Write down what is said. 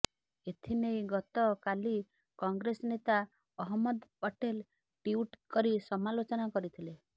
ଏଥିନେଇ ଗତ କାଲି କଂଗ୍ରେସ ନେତା ଅହମ୍ମଦ ପଟେଲ ଟ୍ୱିଟ୍ କରି ସମାଲୋଚନା କରିଥିଲେ